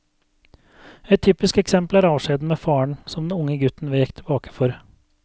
Et typisk eksempel er avskjeden med faren, som den unge gutten vek tilbake for.